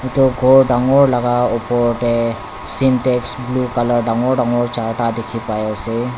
edu khor dangor laka opor tae sintex blue colour dangor dangor charta dikhipaiase.